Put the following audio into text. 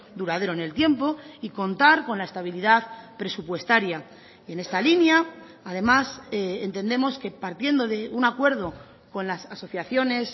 duradero en el tiempo y contar con la estabilidad presupuestaria en esta línea además entendemos que partiendo de un acuerdo con las asociaciones